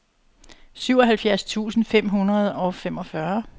syvoghalvfjerds tusind fem hundrede og femogfyrre